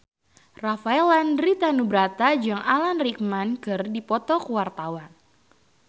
Rafael Landry Tanubrata jeung Alan Rickman keur dipoto ku wartawan